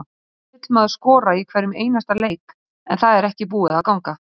Auðvitað vill maður skora í hverjum einasta leik en það er ekki búið að ganga.